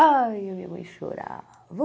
Ai, a minha mãe chorava.